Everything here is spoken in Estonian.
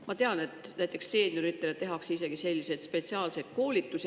Ma tean, et seenioridele tehakse isegi spetsiaalseid koolitusi.